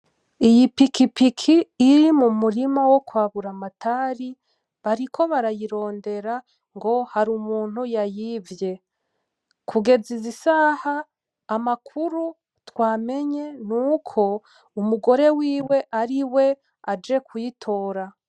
Iyi pikipiki iri mumurima wokwa Buramatari bariko barayirondera ngo hari umuntu yayivye kugeza izi saha amakuru twamenye nuko umugore wiwe ariwe aje kuyitora.